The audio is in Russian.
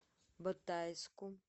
батайску